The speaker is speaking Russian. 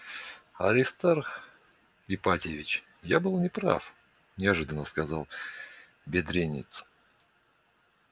аристарх ипатьевич я был не прав неожиданно сказал бедренец